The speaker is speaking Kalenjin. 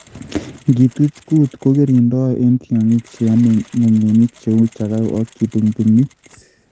Ngituch koot kogirindoi en tiongik cheamei ngogenik cheu Chagau ak kibungbungit